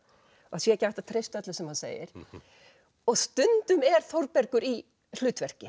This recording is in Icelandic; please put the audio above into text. það sé ekki hægt að treysta öllu sem hann segir og stundum er Þórbergur í hlutverki